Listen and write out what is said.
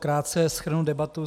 Krátce shrnu debatu.